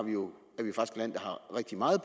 rigtig meget